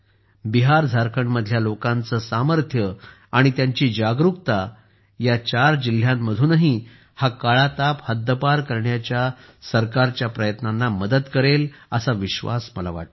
बिहारझारखंडमधल्या लोकांचे सामर्थ्य आणि त्यांची जागरुकता या चार जिल्ह्यांमधूनही हा काळा ताप हद्दपार करण्याच्या सरकारच्या प्रयत्नांना मदत करेल असा विश्वास मला वाटतो